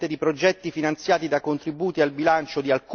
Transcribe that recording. finanziati da contributi al bilancio di alcuni Stati membri.